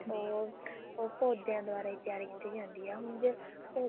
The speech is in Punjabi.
ਉਹ ਉਹ ਪੋਦਿਆਂ ਦੁਆਰਾ ਹੀ ਤਿਆਰ ਕੀਤੀ ਜਾਂਦੀ ਆ ਹੁਣ ਜੇ